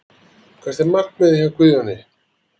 Hvert er markmiðið hjá Guðjóni?